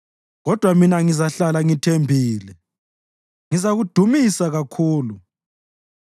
Kodwa mina ngizahlala ngithembile; ngizakudumisa kakhulu.